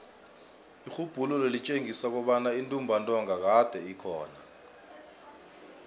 irhubhululo litjengisa kobana intumbantonga kade ikhona